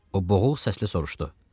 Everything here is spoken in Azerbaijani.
O boğuq səslə soruşdu.